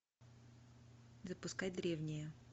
запускай древние